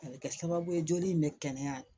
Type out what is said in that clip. A bɛ kɛ sababu ye joli in bɛ kɛnɛya